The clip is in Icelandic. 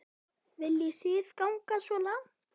Viljið þið ganga svo langt?